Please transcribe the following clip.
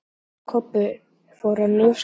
Ási og Kobbi fóru að njósna.